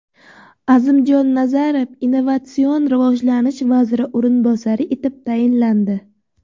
Azimjon Nazarov Innovatsion rivojlanish vaziri o‘rinbosari etib tayinlandi.